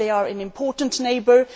They are an important neighbour.